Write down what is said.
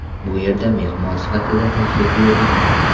Bu yerga mehmon sifatida tashrif buyurdik.